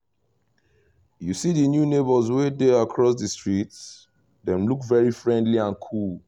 you see the new neighbours wey dey across the street? dem look very friendly and cool